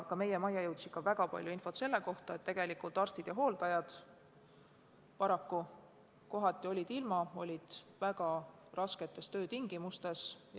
Ka meie majja jõudis väga palju infot selle kohta, et tegelikult olid arstid ja hooldajad kohati ilma kaitsevarustuseta, viibides väga rasketes töötingimustes.